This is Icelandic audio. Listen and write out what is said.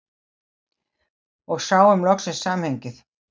Og sáum loksins samhengið.